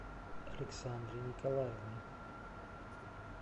александре николаевне